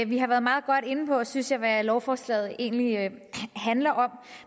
vi har været meget godt inde på synes jeg hvad lovforslaget egentlig handler om